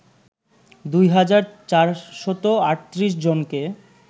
দুই হাজার ৪৩৮জনকে